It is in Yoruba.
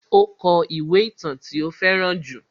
Ó kó ìwé ìtàn tí ó fẹ́ràn jù.